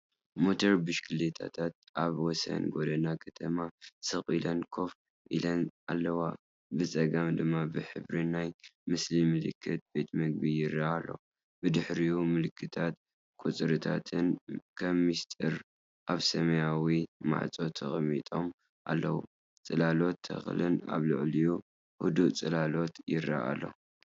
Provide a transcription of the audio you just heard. ሞተር ብሽክለታታት ኣብ ወሰን ጎደና ከተማ ስቕ ኢለን ኮፍ ኢለን ኣለዋ ብጸጋም ድማ ብሕብሪ ናይቲ ምስሊ ምልክት ቤት መግቢ ይረአ ኣሎ። ብድሕሪኡ፡ምልክታትን ቁጽርታትን ከም ምስጢር ኣብ ሰማያዊ ማዕጾ ተቐሚጦም ኣለዉ። ጽላሎት ተክልን ኣብ ልዕሊኡ ህዱእ ጽላሎት ይረኣየኣሎ።